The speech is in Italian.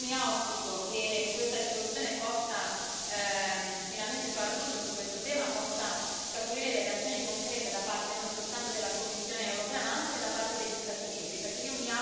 Io mi auspico che questa risoluzione possa finalmente far luce su questo tema, possa scaturire delle azioni concrete da parte non soltanto della Commissione europea, ma anche da parte degli Stati membri.